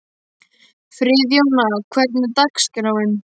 Friðjóna, hvernig er dagskráin?